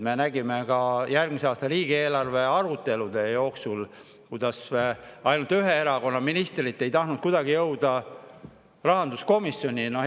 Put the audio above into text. Me oleme järgmise aasta riigieelarve arutelude jooksul näinud, kuidas ainult ühe erakonna ministrid ei tahtnud kuidagi rahanduskomisjoni jõuda.